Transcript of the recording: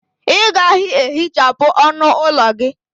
Ị gaghị ehichapụ ọnụ ụlọ gị?